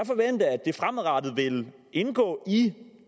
det fremadrettet vil indgå i